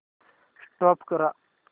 stop करा